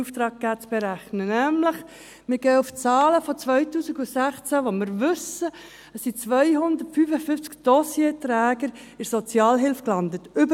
Wir stützen uns nämlich auf die Zahlen des Jahres 2016, wonach damals 255 über 55-jährige Dossierträger in der Sozialhilfe gelandet waren.